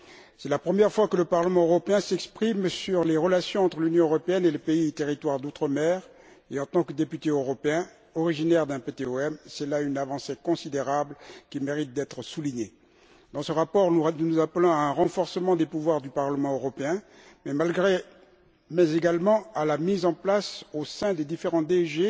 C'est la première fois que le Parlement européen s'exprime sur les relations entre l'Union européenne et les pays et territoires d'outre mer et, en tant que député européen originaire d'un PTOM, j'estime que c'est là une avancée considérable qui mérite d'être soulignée. Dans ce rapport, nous appelons à un renforcement des pouvoirs du Parlement européen mais également à la mise en place, au sein des différentes DG,